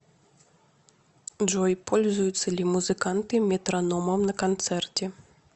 джой пользуются ли музыканты метрономом на концерте